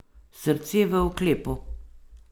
Srce v oklepu.